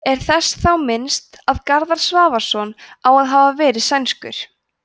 er þess þá minnst að garðar svavarsson á að hafa verið sænskur